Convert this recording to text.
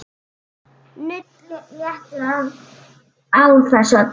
Nudd léttir á þessu öllu.